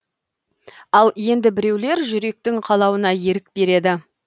ал енді біреулер жүректің қалауына ерік береді